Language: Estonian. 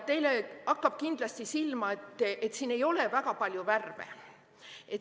Teile hakkab kindlasti silma, et siin ei ole väga palju värve.